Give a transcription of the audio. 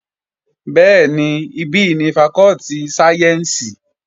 Bẹ́ẹ̀ni, ibí ni fakọ́tì sáyẹ́ǹsì